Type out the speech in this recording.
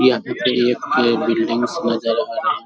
यहाँ पे फिर एक ये बिल्डिंगस नजर आ रहे हैं।